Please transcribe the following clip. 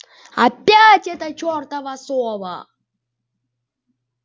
опять эта чёртова сова